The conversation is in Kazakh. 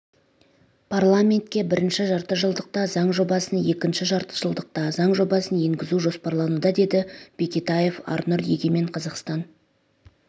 парламентке бірінші жартыжылдықта заң жобасын екінші жартыжылдықта заң жобасын енгізу жоспарлануда деді бекетаев арнұр егемен қазақстан